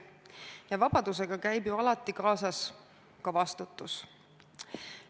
Ja vabadusega käib alati kaasas ka vastutus.